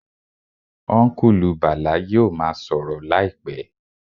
Ọ́nkùlù Bàlá yóò ma sọ̀rọ̀ láìpẹ́